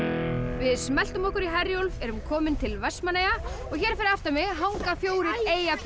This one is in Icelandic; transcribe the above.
við smelltum okkur í Herjólf erum komin til Vestmannaeyja og hér fyrir aftan mig hanga fjórir